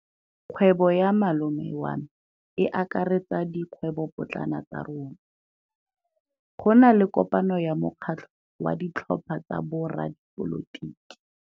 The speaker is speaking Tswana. Kgwêbô ya malome wa me e akaretsa dikgwêbôpotlana tsa rona. Go na le kopanô ya mokgatlhô wa ditlhopha tsa boradipolotiki.